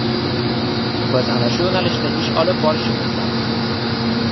Biz ana shu yo‘nalishda ish olib borishimiz zarur.